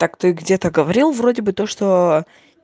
так ты где-то говорил вроде бы то что